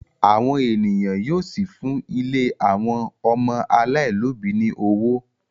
àwọn ènìyàn yíò sí fún ílé àwọn ọmọ alailòbí ní ọwọ.